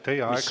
Teie aeg!